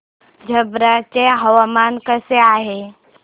छप्रा चे हवामान कसे आहे